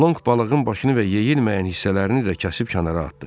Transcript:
Lonq balığın başını və yeyilməyən hissələrini də kəsib kənara atdı.